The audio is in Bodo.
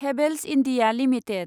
Havells India limited